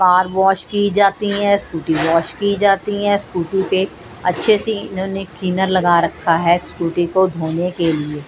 Car wash की जाती हैं स्कूटी वॉश की जाती हैं स्कूटी पे अच्छे से इन्होंने थिनर लगा रखा है स्कूटी को धोने के लिए।